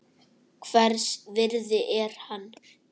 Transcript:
Hvers virði er hann?